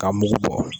Ka mugu bɔ